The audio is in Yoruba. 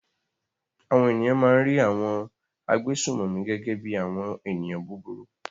Àwọn ènìyàn máa ń rí àwọn agbésùnmòmí gẹ́gẹ́ bí i àwọn ènìyàn búburú.